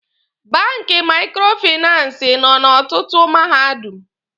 Banki maikrofinansi nọ n'ọtụtụ Mahadum.